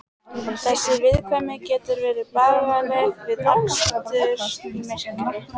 Þessi viðkvæmni getur verið bagaleg við akstur í myrkri.